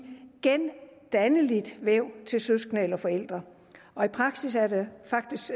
gendanneligt væv til søskende eller forældre og i praksis er det faktisk